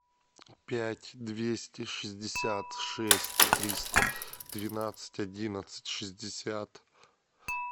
пять двести шестьдесят шесть триста двенадцать одиннадцать шестьдесят